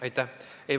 Aitäh!